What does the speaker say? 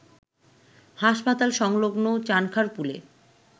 হাসপাতাল সংলগ্ন চানখারপুলে